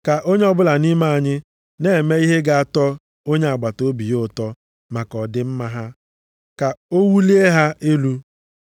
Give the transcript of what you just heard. Ka onye ọbụla nʼime anyị na-eme ihe ga-atọ onye agbataobi ya ụtọ maka ọdịmma ha, ka o wulie ha elu.